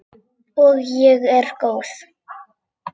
Og ég er góð.